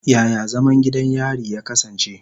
Yaya zaman gidan yari ya kasance?